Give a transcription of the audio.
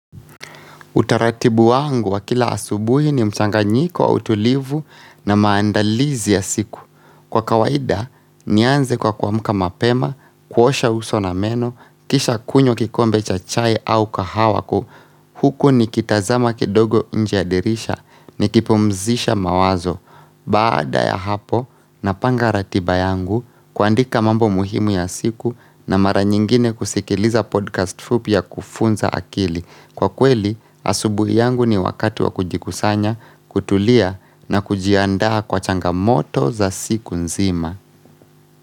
Utaratibu wangu wa kila asubuhi ni mchanganyiko, utulivu na maandalizi ya siku. Kwa kawaida, nianze kwa kuamka mapema, kuosha uso na meno, kisha kunywa kikombe cha chai au kahawa, huku nikitazama kidogo nje ya dirisha nikipumzisha mawazo. Baada ya hapo, napanga ratiba yangu, kuandika mambo muhimu ya siku na mara nyingine kusikiliza podcast fupi ya kufunza akili. Kwa kweli, asubuhi yangu ni wakati wa kujikusanya, kutulia na kujiandaa kwa changamoto za siku nzima.